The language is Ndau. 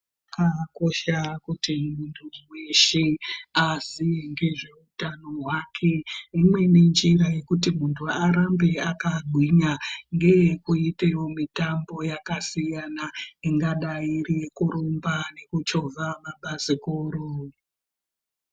Zvakakosha kuti muntu weshe aziye ngezveutano hwake. Imweni njira yekuti muntu arambe akagwinya ngeyekuite mutambo yakasiyana ingadai iri yekurumba kana nekuchovha mabhasikoro.